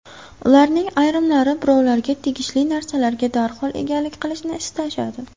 Ularning ayrimlari birovlarga tegishli narsalarga darhol egalik qilishni istashadi.